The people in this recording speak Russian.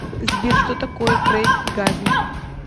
сбер что такое крейгазм